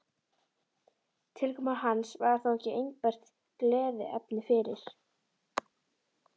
Tilkoma hans var þó ekki einbert gleðiefni fyrir